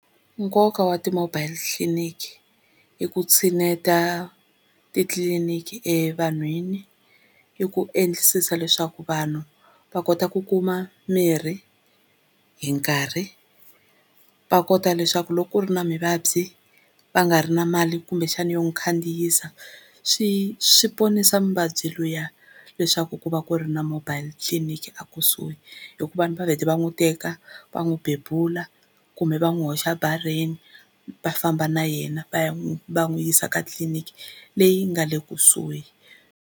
Nkoka wa ti-mobile clinic i ku tshineta titliliniki evanhwini, i ku endlisisa leswaku vanhu va kota ku kuma mirhi hi nkarhi, va kota leswaku loko ku ri na muvabyi va nga ri na mali kumbexani yo n'wi khandziyisa swi swi ponisa muvabyi luya leswaku ku va ku ri na mobile clinic a kusuhi, hikuva va vhele va n'wi teka va n'wi bebula kumbe va n'wi hoxa bareni va famba na yena va ya n'wi va n'wi yisa ka tliliniki leyi nga le kusuhi.